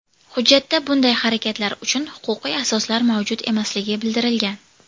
Hujjatda bunday harakatlar uchun huquqiy asoslar mavjud emasligi bildirilgan.